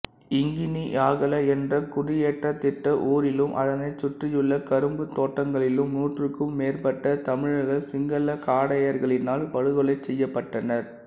இங்கினியாகல என்ற குடியேற்றத்திட்ட ஊரிலும் அதனைச் சுற்றியுள்ள கரும்புத் தோட்டங்களிலும் நூற்றுக்கும் மேற்பட்ட தமிழர்கள் சிங்களக் காடையர்களினால் படுகொலை செய்யப்பட்டனர்